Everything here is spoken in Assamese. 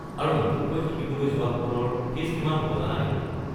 আৰু নতুনকৈ শিকিবলৈ যোৱাসকলৰ ফীজ কিমান হ'ব জানা নেকি?